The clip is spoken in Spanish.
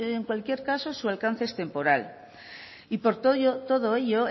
en cualquier caso su alcance es temporal y por todo ello